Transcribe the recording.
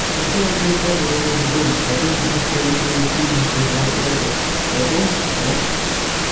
сначала твой батя заложит дома потом будет проигрывать пенсию зарплату потом он